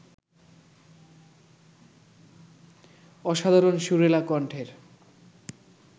অসাধারণ সুরেলা কণ্ঠের